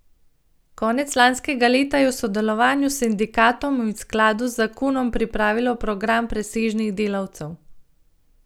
Konec lanskega leta je v sodelovanju s sindikatom in v skladu z zakonom pripravilo program presežnih delavcev.